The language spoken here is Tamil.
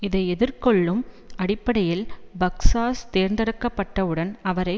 இதை ஏற்றுக்கொள்ளும் அடிப்படையில் பக்ஸாஸ் தேர்ந்தெடுக்கப்பட்டவுடன் அவரை